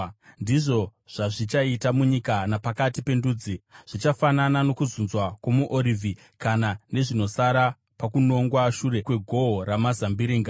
Ndizvo zvazvichaita munyika napakati pendudzi, zvichafanana nokuzunzwa kwomuorivhi, kana sezvinosara pakunongwa shure kwegohwo ramazambiringa.